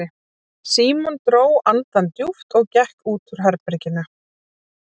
Símon dró andann djúpt og gekk út úr herberginu.